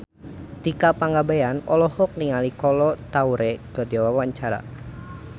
Tika Pangabean olohok ningali Kolo Taure keur diwawancara